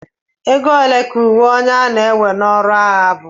ego ole ka uwe onye na-ewe n'ọrụ agha bu